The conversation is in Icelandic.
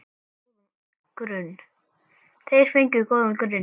Þeir fengu góðan grunn.